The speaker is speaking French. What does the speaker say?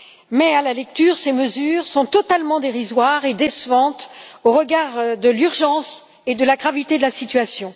Mais, à la lecture, ces mesures sont totalement dérisoires et décevantes au regard de l'urgence et de la gravité de la situation.